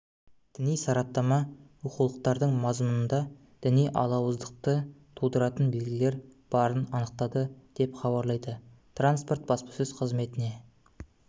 діни сараптама оқулықтардың мазмұнында діни алауыздықты тудыратын белгілер барын анықтады деп хабарлайды транспорт баспасөз қызметіне